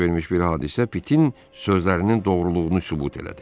Baş vermiş bir hadisə Pitin sözlərinin doğruluğunu sübut elədi.